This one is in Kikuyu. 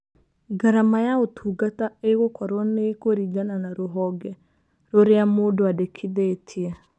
Ngarama ya ũtungata ĩgũkorũo nĩ ĩkũringana na rũhonge rũrĩa mũndũ andĩkithĩtie.